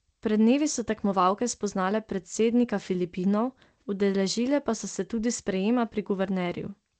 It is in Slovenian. Pred dnevi so tekmovalke spoznale predsednika Filipinov, udeležile pa so se tudi sprejema pri guvernerju.